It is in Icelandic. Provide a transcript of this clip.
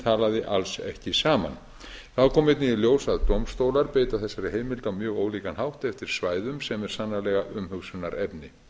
talaði alls ekki saman þá kom einnig i ljós að dómstólar beita þessari heimild á mjög ólíkan hátt eftir svæðum sem er sannarlega umhugsunarefni